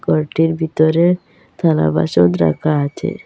ঘরটির ভিতরে থালাবাসন রাখা আছে।